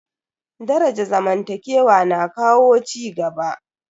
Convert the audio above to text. Daraja zamantakewa na kawo cigaba.